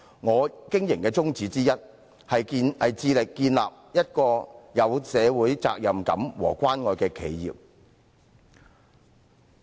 我經營的宗旨之一，是致力建立一個有社會責任感和關愛的企業。